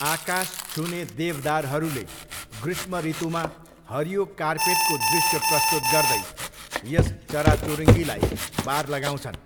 आकाश छुने देवदारहरूले ग्रीष्म ऋतुमा हरियो कार्पेटको दृश्य प्रस्तुत गर्दै यस चराचुरुङीलाई बार लगाउँछन्।